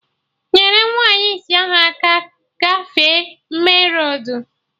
Nyerụ nwaanyị isi ahụ aka gafee menroadu!